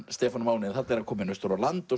Stefán Máni þarna er hann kominn austur á land og